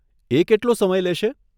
એ કેટલો સમય લેશે?